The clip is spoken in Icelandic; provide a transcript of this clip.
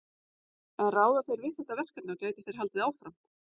En ráða þeir við þetta verkefni og gætu þeir haldið áfram?